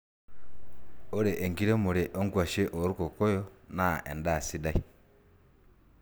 ore enkiremore onkuashe olkokoyo naa endaa sidai